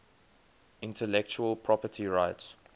intellectual property rights